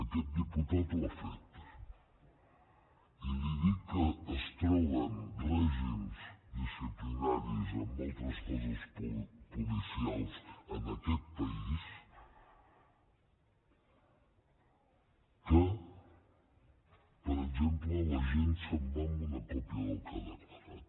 aquest diputat ho ha fet i li dic que es troben règims disciplinaris en altres cossos policials en aquest país que per exemple l’agent se’n va amb una còpia del que ha declarat